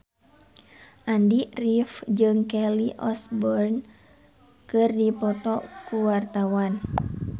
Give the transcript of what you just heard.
Andy rif jeung Kelly Osbourne keur dipoto ku wartawan